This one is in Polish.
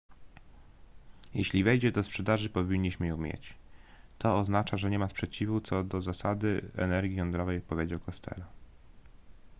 jeśli wejdzie do sprzedaży powinniśmy ją mieć to oznacza że nie ma sprzeciwu co do zasady energii jądrowej powiedział costello